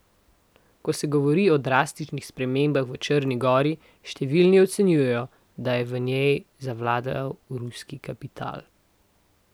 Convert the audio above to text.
Ko se govori o drastičnih spremembah v Črni gori, številni ocenjujejo, da je v njej zavladal ruski kapital.